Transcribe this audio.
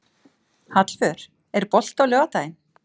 Hallvör, er bolti á laugardaginn?